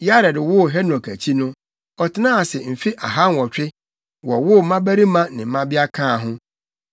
Yared woo Henok akyi no, ɔtenaa ase mfe ahanwɔtwe, wowoo mmabarima ne mmabea kaa ho.